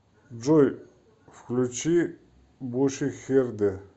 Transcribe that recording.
джой включи бу шихерде